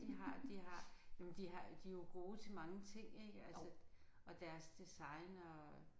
De har de har jamen de har de er jo gode til mange ik altså og deres design og